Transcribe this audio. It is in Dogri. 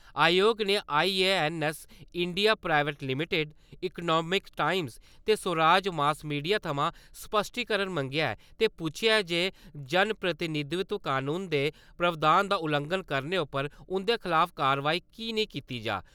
आयोग ने I. A. N. S. India private limited Economic Times ते स्वराज मास मीड़िया थवां स्पष्टीकरण मंगेआ ऐ ते पुच्छेआ ऐ जे जनप्रतिनिधित्व कनून दे प्रावधान दा उल्लंघन करने उप्पर उन्दे खलाफ कारवाई कीह् नेई कीती जा।